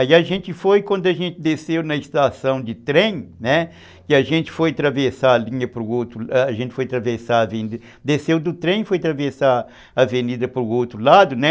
Aí a gente foi, quando a gente desceu na estação de trem, né, e a gente foi atravessar a linha para o outro lado, a gente foi atravessar a avenida, desceu do trem e foi atravessar a avenida para o outro lado, né?